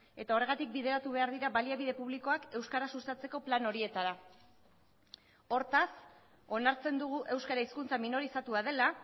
eta horregatik bideratu behar dira baliabide publikoak euskara sustatzeko plan horietara hortaz onartzen dugu euskara hizkuntza minorizatua dela